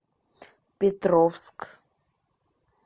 петровск